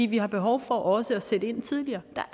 vi har behov for også at sætte ind tidligere der